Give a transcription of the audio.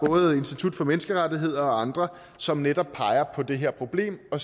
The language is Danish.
institut for menneskerettigheder og andre som netop peger på det her problem og